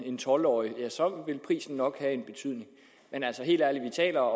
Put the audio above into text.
en tolv årig vil prisen nok have en betydning men helt ærligt vi taler